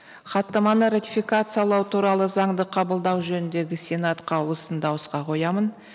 хаттаманы ратификациялау туралы заңды қабылдау жөніндегі сенат қаулысын дауысқа қоямын